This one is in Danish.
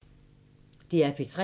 DR P3